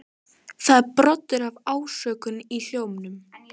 Það er broddur af ásökun í hljómnum.